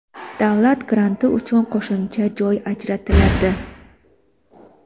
davlat granti uchun qo‘shimcha joy ajratiladi;.